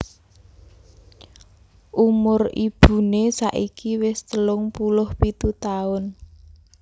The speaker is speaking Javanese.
Umur ibuné saiki wis telung puluh pitu taun